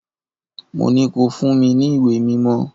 Mo ní ko fún mi ní ìwé mímọ́!